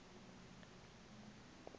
lezemo